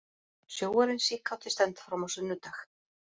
Sjóarinn síkáti stendur fram á sunnudag